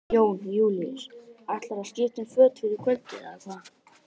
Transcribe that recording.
Jón Júlíus: Ætlarðu að skipta um föt fyrir kvöldið eða hvað?